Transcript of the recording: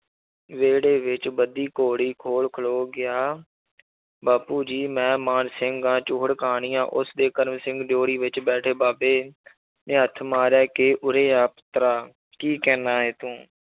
ਵਿਹੜੇ ਵਿੱਚ ਬੱਧੀ ਘੋੜੀ ਕੋਲ ਖਲੋ ਗਿਆ ਬਾਪੂ ਜੀ ਮੈਂ ਮਾਨ ਸਿੰਘ ਆਂ ਚੂਹੜ ਕਾਣੀਆ ਉਸਦੇ ਕਰਮ ਸਿੰਘ ਦਿਓੜੀ ਵਿੱਚ ਬੈਠੇ ਬਾਬੇ ਨੇ ਹੱਥ ਮਾਰਿਆ ਕਿ ਉਰੇ ਆ ਪੁੱਤਰਿਆ ਕੀ ਕਹਿਨਾ ਹੈ ਤੂੰ